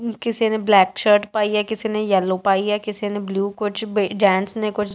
ਕਿਸੇ ਨੇ black shirt ਪਾਈ ਹੈ ਕਿਸੇ ਨੇ ਯੇੱਲੋ ਪਾਈ ਹੈ ਕਿਸੇ ਨੇ ਬਲੂ ਕੁਛ ਬੇ ਜੈਂਟਸ ਨੇਂ ਕੁਛ।